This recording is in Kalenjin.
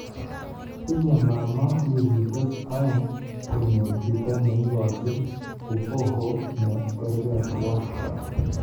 Tinye mamaa wikisyek aeng konyor chito ne igochin uboho ne kargi tuwai